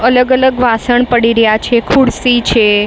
અલગ અલગ વાસણ પડી રહ્યા છે. ખુરસી છે.